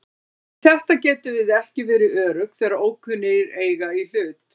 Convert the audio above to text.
Um þetta getum við ekki verið örugg þegar ókunnugir eiga í hlut.